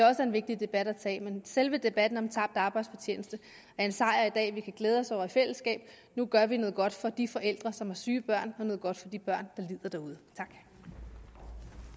er en vigtig debat at tage men selve debatten om tabt arbejdsfortjeneste er en sejr i dag som vi kan glæde os over i fællesskab nu gør vi noget godt for de forældre som har syge børn og noget godt for de børn der lider derude